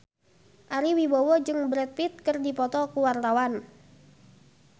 Ari Wibowo jeung Brad Pitt keur dipoto ku wartawan